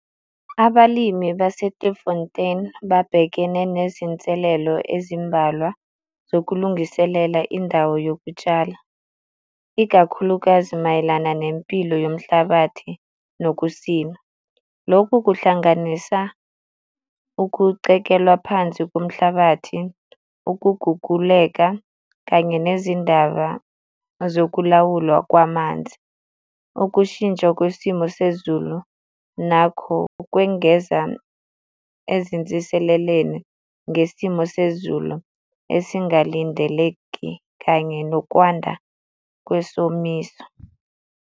Abalimi base-Klufontein babhekene nezinselelo ezimbalwa zokulungiselela indawo yokutshala, ikakhulukazi mayelana nempilo yomhlabathi nokusima. Lokhu kuhlanganisa ukucekelwa phansi komhlabathi, ukuguguleka, kanye nezindaba zokulawulwa kwamanzi. Ukushintsha kwesimo sezulu nakho kwengeza ezinsiseleleni ngesimo sezulu esingalindeleki kanye nokwanda kwesomiso.